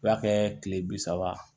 U b'a kɛ kile bi saba